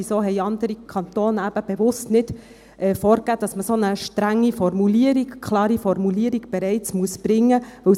Weshalb haben andere Kantone bewusst nicht vorgegeben, dass man eine so strenge, klare Formulierung bereits bringen muss?